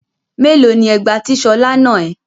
Mélòó ni ẹgba tí Ṣọlá nà ẹ́?